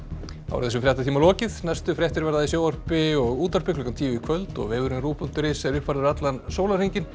þessum fréttatíma er lokið næstu fréttir verða í sjónvarpi og útvarpi klukkan tíu í kvöld og vefurinn rúv punktur is er uppfærður allan sólarhringinn